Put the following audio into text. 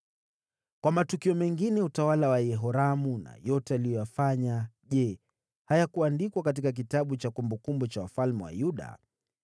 Kwa matukio mengine ya utawala wa Yehoramu na yote aliyoyafanya, je, hayakuandikwa katika kitabu cha kumbukumbu za wafalme wa Yuda?